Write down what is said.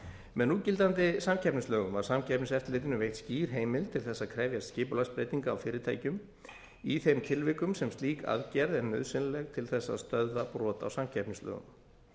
með núgildandi samkeppnislögum var samkeppniseftirlitinu veitt skýr heimild til þess að krefjast skipulagsbreytinga á fyrirtækjum í þeim tilvikum sem slík aðgerð er nauðsynleg til þess stöðva brot á samkeppnislögum